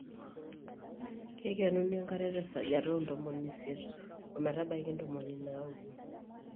keikenuni enkare tesajata oo ntomoni isiet ometbaiki ntomoni naaudo